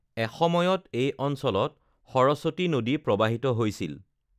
এসময়ত এই অঞ্চলত সৰস্বতী নদী প্ৰৱাহিত হৈছিল৷